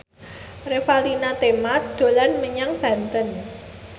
Revalina Temat dolan menyang Banten